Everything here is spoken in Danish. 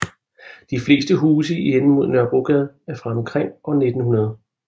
De fleste huse i enden mod Nørrebrogade er fra omkring år 1900